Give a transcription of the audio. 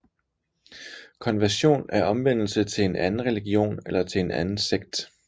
Konversion er omvendelse til en anden religion eller til en anden sekt